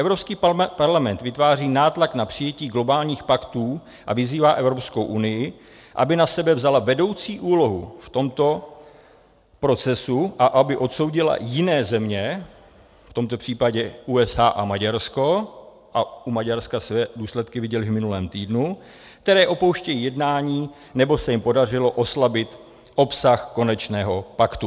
Evropský parlament vytváří nátlak na přijetí globálních paktů a vyzývá Evropskou unii, aby na sebe vzala vedoucí úlohu v tomto procesu a aby odsoudila jiné země, v tomto případě USA a Maďarsko, a u Maďarska jste důsledky viděli v minulém týdnu, které opouštějí jednání, nebo se jim podařilo oslabit obsah konečného paktu.